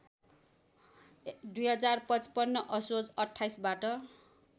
२०५५ असोज २८ बाट